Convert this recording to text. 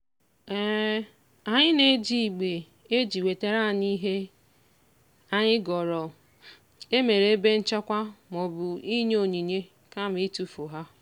anyị na-eji igbe e ji wetara anyị ihe anyị goro emere ebe nchekwa maọbụ inye onyinye kama itufu ha.